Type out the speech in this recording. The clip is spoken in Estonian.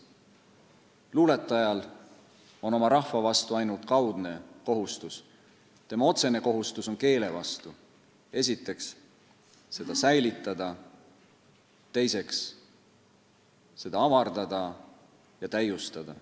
Luuletajal on oma rahva vastu ainult kaudne kohustus: tema otsene kohustus on k e e l e vastu – esiteks seda säilitada, teiseks avardada ja täiustada.